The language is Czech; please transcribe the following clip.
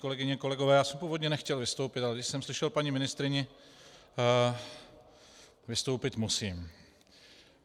Kolegyně, kolegové, já jsem původně nechtěl vystoupit, ale když jsem slyšel paní ministryni, vystoupit musím.